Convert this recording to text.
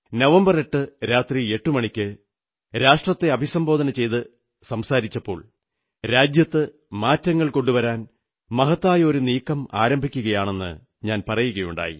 November 8ന് രാത്രി 8 മണിക്ക് രാഷ്ട്രത്തെ അഭിസംബോധന ചെയ്തുകൊണ്ട് സംസാരിച്ചപ്പോൾ രാജ്യത്ത് മാറ്റങ്ങൾ കൊണ്ടുവരാൻ മഹത്തായ ഒരു നീക്കം ആരംഭിക്കയാണെന്നു പറയുകയുണ്ടായി